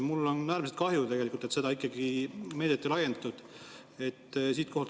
Mul on äärmiselt kahju, et seda meedet ikkagi ei laiendatud.